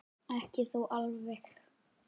Ekki þó alveg.